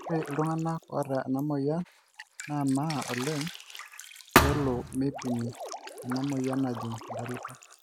ore oltungani oota ena moyian namaa oleng pelo meipimi ena moyian najing entalipa